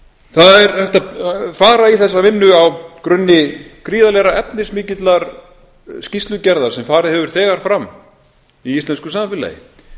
það er hægt að fara í þessa vinnu á grunni gríðarlega efnismikillar skýrslugerðar sem þegar hefur farið fram í íslensku samfélagi